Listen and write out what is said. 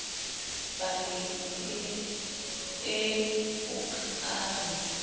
paleng ee o ka re